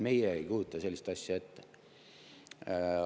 Meie ei kujuta sellist asja ette.